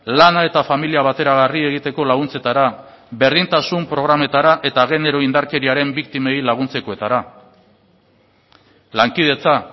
lana eta familia bateragarri egiteko laguntzetara berdintasun programetara eta genero indarkeriaren biktimei laguntzekoetara lankidetza